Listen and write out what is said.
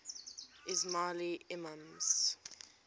ismaili imams